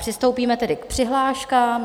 Přistoupíme tedy k přihláškám.